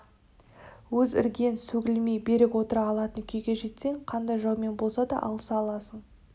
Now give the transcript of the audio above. өз іргең сөгілмей берік отыра алатын күйге жетсең қандай жаумен болса да алыса аласың